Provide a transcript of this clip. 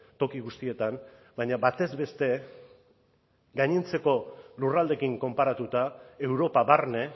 toki guztietan baina batez beste gainontzeko lurraldeekin konparatuta europa barne